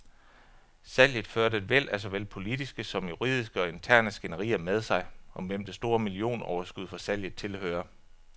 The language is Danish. Salget førte et væld af såvel politiske som juridiske og interne skænderier med sig, om hvem det store millionoverskud fra salget tilhører.